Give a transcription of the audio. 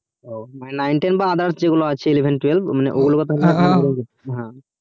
ও মানে nine ten বা others যে গুলো আছে eleven twelve ও গুলো